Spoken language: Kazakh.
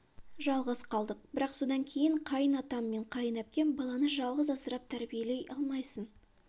жалғыз қалдық бірақ содан кейін қайын атам мен қайын әпкем баланы жалғыз асырап тәрбиелей алмайсың